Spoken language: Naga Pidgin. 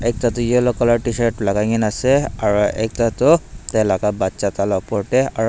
ekta toh yellow colour tshirt lagai na ase aru ekta tu tai laga bacha tala opor tey--